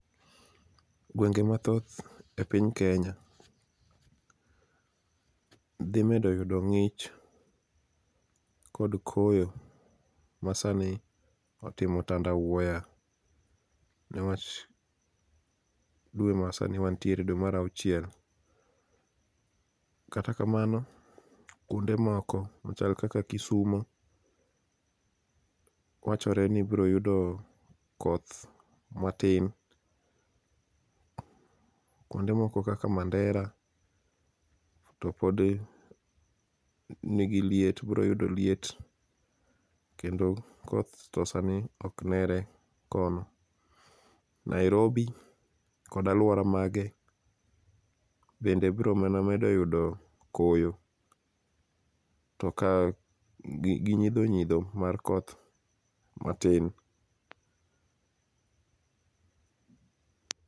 Gwenge mathoth e piny Kenya, dhi medo yudo ngích kod koyo ma sani otimo tanda wuoya, newach dwe ma sani wantiere, dwe mar auchiel. Kata kamano, kuonde moko machal kaka Kisumo wachore ni biro yudo koth matin. Kuonde moko kaka Mandera, to podi nigi liet, biro yudo liet. Kendo koth to sani ok nere kono. Nairobi kod alwora mage, bende biro mana medo yudo koyo to ka, gi gi nyidho nyidho mar koth matin.